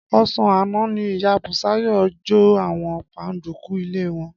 Ọ̀sán àná ni ìyá Bùsáyọ̀ jó àwọn páńdukú ilé wọn.